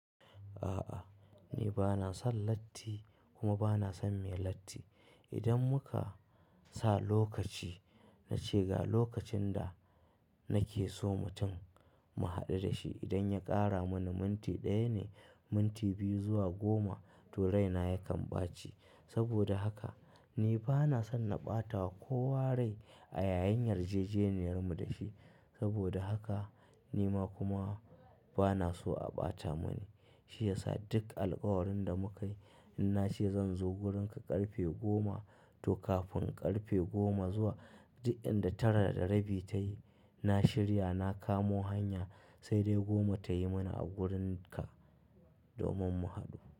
A'a ni bana son latti kuma bana son mai latti. Idan muka sa lokaci, na ce ga lokacin da nake so mutum mu haɗu da shi idan ya ƙara mana minti ɗaya ne, minti biyu zuwa goma to raina yakan ɓaci. Saboda haka ni bana son na ɓata wa kowa rai a yayin yarjejeniyarmu da shi. Saboda haka nima kuma bana so a ɓata mani. Shi yasa duk alkawarin da mukai, in na ce zan zo wurinka ƙarfe goma to kafin ƙarfe goma zuwa duk inda tara da rabi ta yi, na shirya na kamo hanya sai dai goma ta yi mana a wurinka domin mu haɗu.